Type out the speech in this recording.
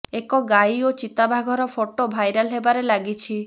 ଏକ ଗାଈ ଓ ଚିତାବାଘର ଫଟୋ ଭାଇରାଲ ହେବାରେ ଲାଗିଛି